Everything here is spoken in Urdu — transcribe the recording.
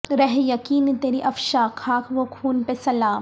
رہ یقین تری افشاں خاک و خون پہ سلام